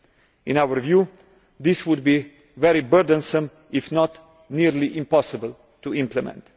In our view this would be very burdensome if not almost impossible to implement.